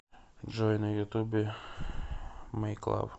джой на ютубе мэйклав